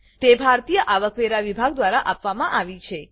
તે ભારતીય આવકવેરા વિભાગ દ્વારા આપવામાં આવી છે